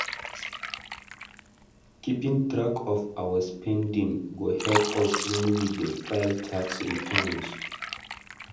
Keeping track of our spending go help us when we dey file tax returns.